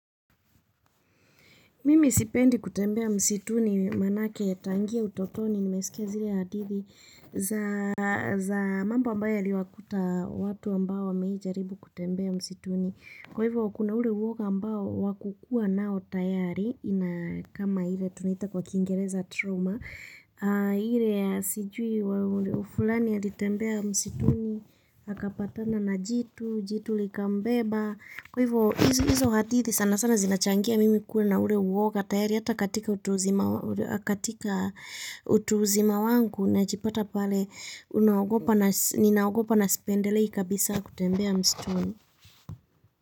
Mimi sipendi kutembea msituni maanake tangia utotoni nimesikia zile hadithi za mambo ambayo yaliwakuta watu ambao wameijaribu kutembea msituni. Kwa hivyo kuna ule uwoga ambao wakukua nao tayari ina kama ile tunita kwa kingereza trauma. Ile sijui fulani alitembea msituni, akapatana na jitu, jitu likambeba. Kwa hivyo, hizo hadithi sana sana zinachangia mimi kuwa na ule uwoga tayari hata katika utu uzima wangu najipata pale ninaogopa na sipendelei kabisa kutembea msituni.